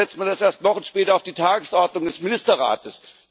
Warum setzt man das erst Wochen später auf die Tagesordnung des Ministerrates?